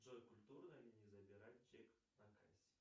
джой культурно ли не забирать чек на кассе